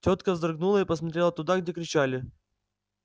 тётка вздрогнула и посмотрела туда где кричали